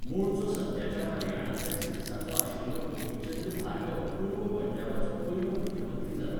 मूळचो सध्याच्या हरियाणांतल्या सिरसाचो आशिल्लो गोपीचंद भार्गव पूर्व पंजाबाचो पयलो मुख्यमंत्री जालो.